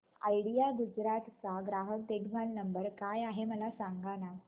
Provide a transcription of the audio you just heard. idea Gujarat चा ग्राहक देखभाल नंबर काय आहे मला सांगाना